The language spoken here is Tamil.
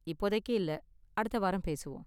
இப்போதைக்கு இல்ல, அடுத்த வாரம் பேசுவோம்.